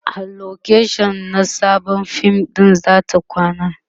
a location na Sabon fim ɗinsu zata kwana